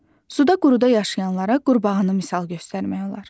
Suda-quruda yaşayanlara qurbağanı misal göstərmək olar.